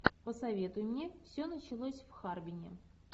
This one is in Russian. посоветуй мне все началось в харбине